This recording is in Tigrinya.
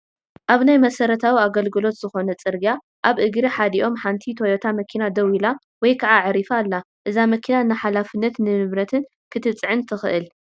ኣብ ናይ መሰረታዊ ኣገልግሎት ዝኾነ ፅርግያ ኣብ እግሪ ሓደ ኦም ሓንቲ ቶዮታ መኪና ደው ኢላ ወይ ከዓ ኣዕሪፋ ኣላ፡፡ እዛ መኪና ንሓለፍትን ንንብረትን ክትፅዕን ትኽእል፡፡